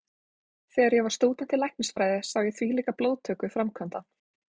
Þegar ég var stúdent í læknisfræði sá ég þvílíka blóðtöku framkvæmda.